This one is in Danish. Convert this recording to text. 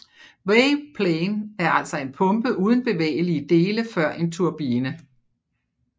WavePlane er altså en pumpe uden bevægelige dele før en turbine